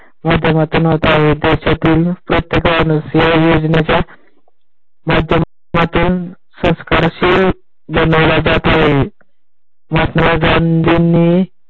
माध्यमातून होत आहे. देशातील प्रत्येकाने या योजनेचा मध्यमातुणे सरकारशी बनवला जात आहे. महात्मा गंधिनी